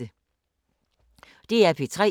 DR P3